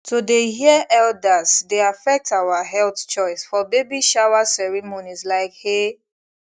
to dey hear elders dey affect our health choice for baby shower ceremonies like eh